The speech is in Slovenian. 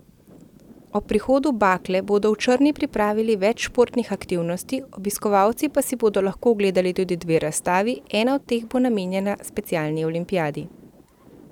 Ob prihodu bakle bodo v Črni pripravili več športnih aktivnosti, obiskovalci pa si bodo lahko ogledali tudi dve razstavi, ena od teh bo namenjena specialni olimpijadi.